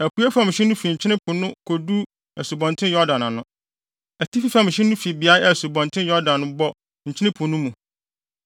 Apuei fam hye no fi Nkyene Po no kodu Asubɔnten Yordan ano. Atifi fam hye no fi beae a Asubɔnten Yordan bɔ Nkyene Po no mu,